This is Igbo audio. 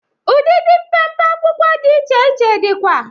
Ọdịdị mpempe akwụkwọ dị iche iche dịkwa.